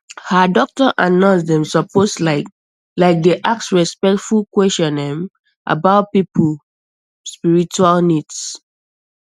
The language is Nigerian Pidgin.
ah doctor and nurse dem suppose like like dey ask respectful questions erm about people spiritual needs